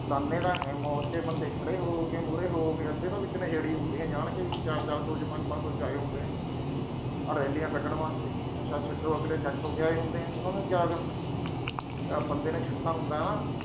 ਜਾਨੇ ਤਾਂ ਹੈ, ਬੰਦੇ, ਮੂਹਰੇ ਹੋ-ਹੋ ਕੇ ਖੜ੍ਹੇ ਹੋ-ਹੋ ਕੇ ਅੱਧੇ ਤਾਂ ਵਿੱਚ ਨਸ਼ੇੜੀ ਹੁੰਦੇ ਆ। ਅੱਧੇ ਤਾਂ ਵਿੱਚ ਨਸ਼ੇੜੀ ਹੁੰਦੇ ਆ, ਜਾਣ ਕੇ ਵੀ ਚਾਰ-ਚਾਰ ਸੌ ਵਿੱਚ, ਪੰਜ-ਪੰਜ ਸੌ ਵਿੱਚ ਆਏ ਹੁੰਦੇ ਆ। ਆਹ ਰੈਲੀਆਂ ਕੱਢਣ ਵਾਸਤੇ, ਨਸ਼ਾ ਛੱਡੋ। ਅਗਲੇ set ਹੋ ਕੇ ਆਏ ਹੁੰਦੇ ਆ। ਉਨ੍ਹਾਂ ਨੂੰ ਕਿਆ ਗਾ। ਅਗਰ ਬੰਦੇ ਨੇ ਛੱਡਣਾ ਹੁੰਦਾ ਨਾ ਅਹ